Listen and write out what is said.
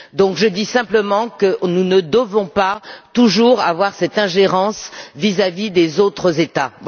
Donc, je dis simplement que nous ne devons pas toujours avoir cette ingérence vis à vis des autres États.